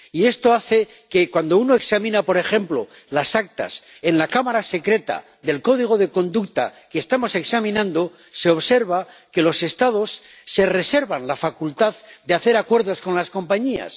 Y esto hace que cuando uno examina, por ejemplo, las actas en la cámara secreta del Código de Conducta que estamos examinando, se observa que los Estados se reservan la facultad de hacer acuerdos con las compañías.